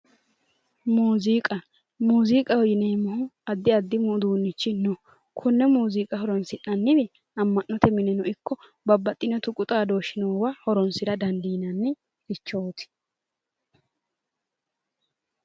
Muziiqa, muziiqa yineemmohu addi addi uduunichi no, kone muziiqa horonsi'nanniwi Ama'note mineno ikko babbaxino tuqu xaadoshi noowa horonsira dandiinannirichoti